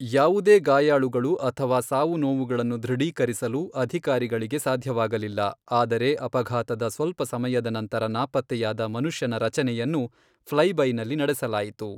ಯಾವುದೇ ಗಾಯಾಳುಗಳು ಅಥವಾ ಸಾವುನೋವುಗಳನ್ನು ದೃಢೀಕರಿಸಲು ಅಧಿಕಾರಿಗಳಿಗೆ ಸಾಧ್ಯವಾಗಲಿಲ್ಲ, ಆದರೆ ಅಪಘಾತದ ಸ್ವಲ್ಪ ಸಮಯದ ನಂತರ ನಾಪತ್ತೆಯಾದ ಮನುಷ್ಯನ ರಚನೆಯನ್ನು ಫ್ಲೈಬೈನಲ್ಲಿ ನಡೆಸಲಾಯಿತು.